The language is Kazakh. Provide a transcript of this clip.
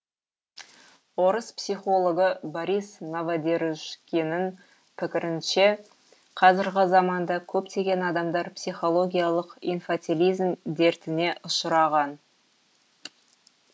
орыс психологы борис новодержкиннің пікірінше қазіргі заманда көптеген адамдар психологиялық инфатилизм дертіне ұшыраған